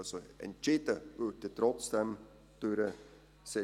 Also: Entschieden würde trotzdem durch den CJB.